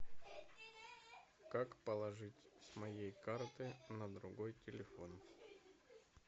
как положить с моей карты на другой телефон